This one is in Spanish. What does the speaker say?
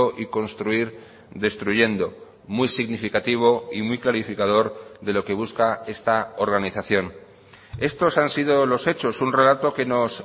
y construir destruyendo muy significativo y muy clarificador de lo que busca esta organización estos han sido los hechos un relato que nos